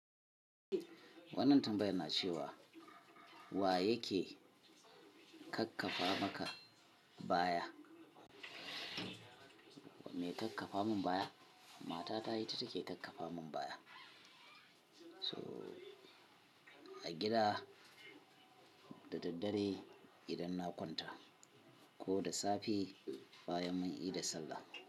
Wannan tambayar na ce wa. Wa yake kakkafa maka baya? Me kakkafa mun baya? Mata ta ita take kakkafa mun baya. So a gida da daddare idan na kwanta, ko da safe. Bayan mun ida sallah.